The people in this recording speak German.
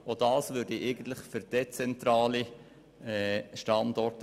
Auch dies spricht für dezentrale Standorte.